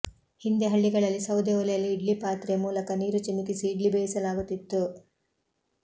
ಹಿಂದೆ ಹಳ್ಳಿಗಳಲ್ಲಿ ಸೌದೆ ಒಲೆಯಲ್ಲಿ ಇಡ್ಲಿ ಪಾತ್ರೆ ಮೂಲಕ ನೀರು ಚಿಮುಕಿಸಿ ಇಡ್ಲಿ ಬೇಯಿಸಲಾಗುತ್ತಿತ್ತು